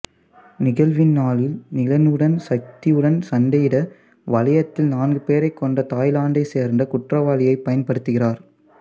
நிகழ்வின் நாளில் நிலனுடன் சக்தியுடன் சண்டையிட வளையத்தில் நான்கு பேரை கொன்ற தாய்லாந்தைச் சேர்ந்த குற்றவாளியைப் பயன்படுத்துகிறார்